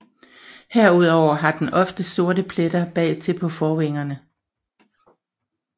Herudover har den ofte sorte pletter bagtil på forvingerne